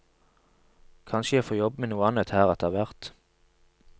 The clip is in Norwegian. Kanskje jeg får jobbe med noe annet her etterhvert.